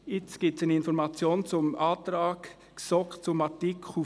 Jetzt gibt es eine Information zum Antrag GSoK zu Artikel 40.